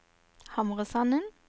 Hamresanden